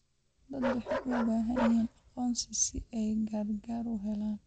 Dadku waxay u baahan yihiin aqoonsi si ay gargaar u helaan.